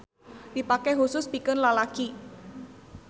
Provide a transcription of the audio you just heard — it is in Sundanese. Dipake husus pikeun lalaki.